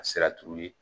A sera turuli